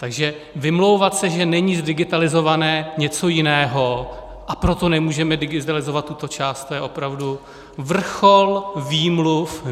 Takže vymlouvat se, že není zdigitalizované něco jiného, a proto nemůžeme digitalizovat tuto část, to je opravdu vrchol výmluv.